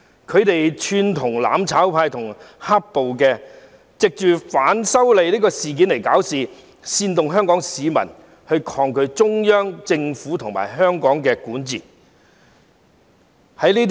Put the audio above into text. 它們串同"攬炒派"和"黑暴"，藉反修例事件搞事，煽動香港市民抗拒中央政府和香港的管治。